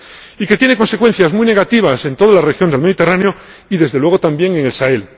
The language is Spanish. y que tiene consecuencias muy negativas en toda la región del Mediterráneo y, desde luego, también en el Sahel.